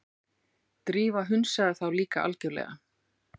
Drífa hunsaði þá líka algjörlega.